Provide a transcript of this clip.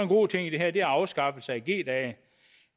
god ting i det her og det er afskaffelse af g dage